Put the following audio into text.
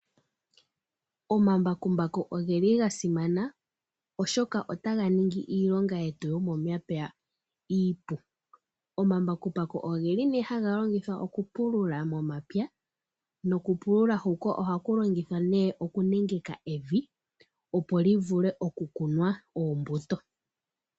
Omambakumbaku ogeli gasimana, oshoka ota ga ningi iilonga yetu momapya ipu. Omambakumbaku ogeli ne haga longithwa oku pulula momapya noku pulula huka ohaku longithwa ne oku nengeka evi opo li vulwe oku kunwa oombuto.